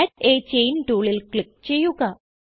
add a chain ടൂളിൽ click ചെയ്യുക